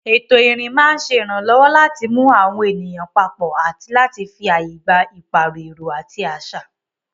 Ètò ìrìn máa ń ṣe ìrànlọ́wọ́ láti mú àwọn ènìyàn papọ̀ àti láti fi ààyè gba ìpààrọ̀ èrò àti àṣà.